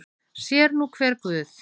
Sér er nú hver guð.